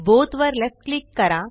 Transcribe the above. both वर left click करा